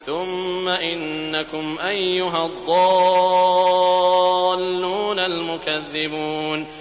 ثُمَّ إِنَّكُمْ أَيُّهَا الضَّالُّونَ الْمُكَذِّبُونَ